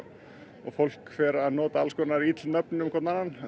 og fólk fer að nota alls konar ill nöfn um hvorn annan en